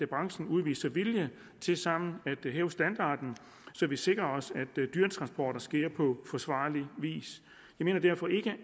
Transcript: branchen udviser vilje til sammen at hæve standarden så vi sikrer os at dyretransporter sker på forsvarlig vis vi mener derfor ikke at